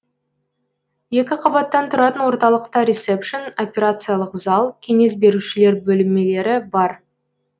екі қабаттан тұратын орталықта ресепшн операциялық зал кеңес берушілер бөлмелері бар